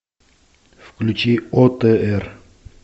включи отр